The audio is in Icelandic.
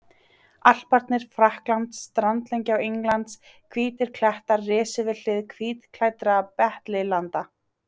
Alparnir, Frakkland, strandlengja Englands, hvítir klettar risu við hlið hvítklæddra beitilanda.